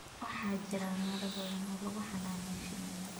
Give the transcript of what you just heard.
Waxaa jira meelo badan oo lagu xanaaneeyo shinida